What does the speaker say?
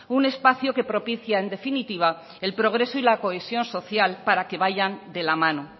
un espacio que propicia en definitiva el progreso y la cohesión social para que vayan de la mano